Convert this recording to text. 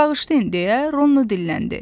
Bağışlayın, deyə Ronno dilləndi.